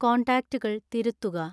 കോൺടാക്റ്റുകൾ തിരുത്തുക